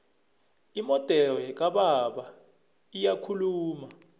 imodere kababa iyakhuluma